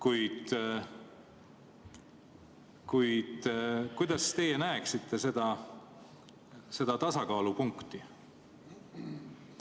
Millisena teie seda tasakaalupunkti näete?